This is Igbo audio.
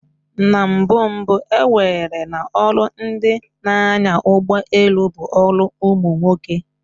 Na mbụ mbụ, ewere na ọlụ ndị n'anya ụgbọ elu bụ ọrụ umunwoke